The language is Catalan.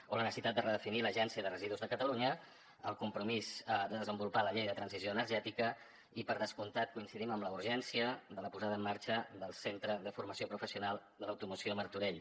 o la necessitat de redefinir l’agència de residus de catalunya el compromís de desenvolupar la llei de transició energètica i per descomptat coincidim en la urgència de la posada en marxa del centre de formació professional de l’automoció a martorell